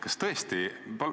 Kas tõesti?